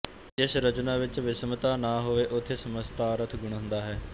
ਜਿਸ ਰਚਨਾ ਵਿੱਚ ਵਿਸ਼ਮਤਾ ਨਾ ਹੋਵੇ ਉਥੇ ਸਮਤਾਅਰਥ ਗੁਣ ਹੁੰਦਾ ਹੈ